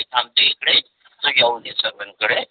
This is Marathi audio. मी थांबतो इकडे तू जाऊन ये सरपंच कडे.